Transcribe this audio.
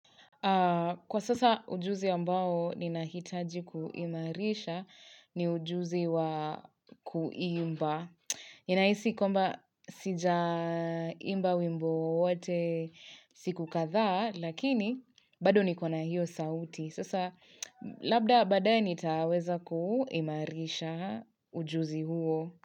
Kwa sasa ujuzi ambao ninahitaji kuimarisha ni ujuzi wa kuimba. Ninahisi kwamba sija imba wimbo wowote siku kadhaa lakini bado niko na hiyo sauti. Sasa labda baadaye nitaweza kuimarisha ujuzi huo.